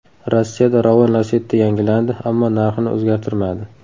Rossiyada Ravon Lacetti yangilandi, ammo narxini o‘zgartirmadi.